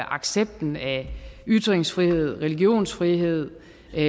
accepten af ytringsfrihed religionsfrihed